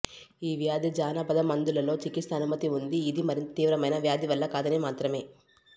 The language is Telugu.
ఈ వ్యాధి జానపద మందులలో చికిత్స అనుమతి ఉంది ఇది మరింత తీవ్రమైన వ్యాధి వల్ల కాదని మాత్రమే